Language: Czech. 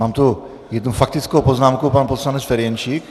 Mám tu jednu faktickou poznámku, pan poslanec Ferjenčík.